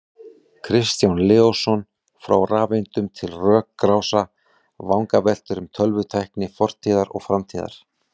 Kristján Leósson, Frá rafeindum til rökrása: Vangaveltur um tölvutækni fortíðar og framtíðar